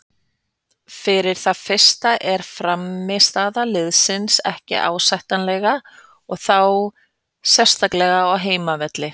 Fyrir það fyrsta er frammistaða liðsins ekki ásættanlega og þá sérstaklega á heimavelli.